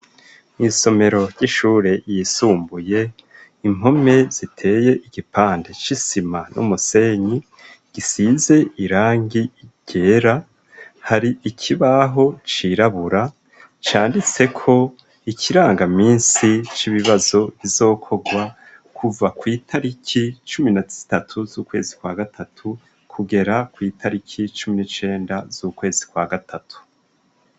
Isomero ry'ishure yisumbuye, impome ziteye igipande c'isima n'umusenyi gisize irangi ryera, hari ikibaho cirabura candiseko ikirangaminsi c'ibibazo bizokorwa kuva kw' itariki cumi na zitatu z'ukwezi kwa gatatu kugera kw' itariki cumi n'icenda z'ukwezi kwa gatatu.